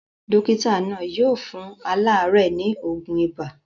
Dókítà náà yóò fún aláàárẹ̀ ní òògùn ibà.